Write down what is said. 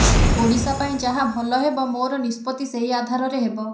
ଓଡ଼ିଶା ପାଇଁ ଯାହା ଭଲ ହେବ ମୋର ନିଷ୍ପତ୍ତି ସେହି ଆଧାରରେ ହେବ